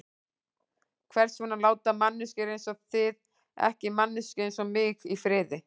Hvers vegna láta manneskjur einsog þið ekki manneskju einsog mig í friði?